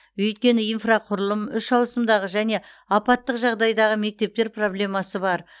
өйткені инфрақұрылым үш ауысымдағы және апаттық жағдайдағы мектептер проблемасы бар